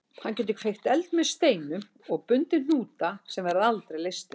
Hann getur kveikt eld með steinum og bundið hnúta sem aldrei verða leystir.